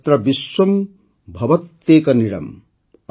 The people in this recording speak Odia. ଯତ୍ର ବିଶ୍ୱମ୍ ଭବତ୍ୟେକ ନୀଡ଼ମ୍